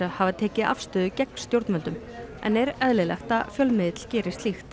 hafa tekið afstöðu gegn stjórnvöldum en er eðlilegt að fjölmiðill geri slíkt